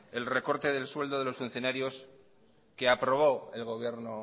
el recorte del sueldo de los funcionarios que aprobó el gobierno